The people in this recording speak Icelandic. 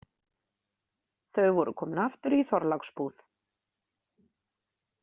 Þau voru komin aftur í Þorláksbúð.